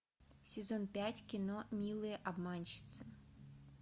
сезон пять кино милые обманщицы